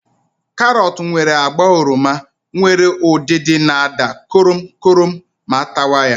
Karọt nwere agba oroma nwere udidi na àda korom korom ma atawa ya.